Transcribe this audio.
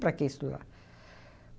Para que estudar?